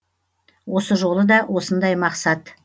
осы жолы да осындай мақсат